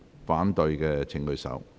反對的請舉手。